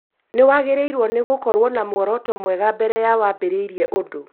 Nĩwagĩrĩirwo nĩ gũkorwo na muoroto mwega mbere ya wambĩrĩirie ũndũ